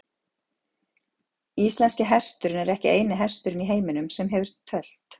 Íslenski hesturinn er ekki eini hesturinn í heiminum sem hefur tölt.